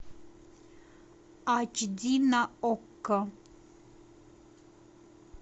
ач ди на окко